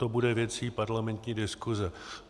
To bude věcí parlamentní diskuse.